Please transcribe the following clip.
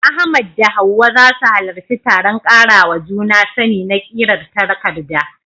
Ahmad da Hawwa za su halarci taron karawa juna sani na ƙirar takarda